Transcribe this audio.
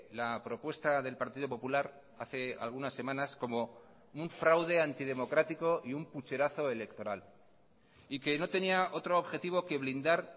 la propuesta del partido popular hace algunas semanas como un fraude antidemocrático y un pucherazo electoral y que no tenía otro objetivo que blindar